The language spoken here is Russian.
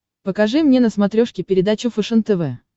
покажи мне на смотрешке передачу фэшен тв